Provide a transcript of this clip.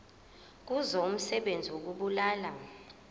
kuzo umsebenzi wokubulala